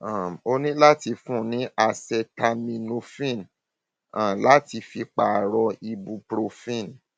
um o ní láti fún un ní acetaminophen um láti fi pààrọ ibuprofen